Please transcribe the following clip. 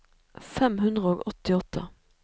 fem hundre og åttiåtte